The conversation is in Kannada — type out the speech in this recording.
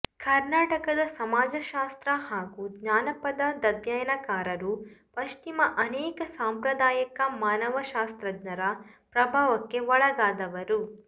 ಕರ್ನಾಟಕದ ಸಮಾಜಶಾಸ್ತ್ರ ಹಾಗೂ ಜಾನಪದ ಅಧ್ಯಯನಕಾರರು ಪಶ್ಚಿಮದ ಅನೇಕ ಸಾಂಪ್ರದಾಯಕ ಮಾನವಶಾಸ್ತ್ರಜ್ಞರ ಪ್ರಭಾವಕ್ಕೆ ಒಳಗಾದವರು